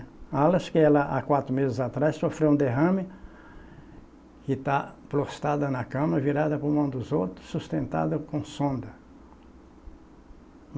que ela há quatro meses atrás sofreu um derrame e está prostada na cama, virada por mão dos outros, sustentada com sonda.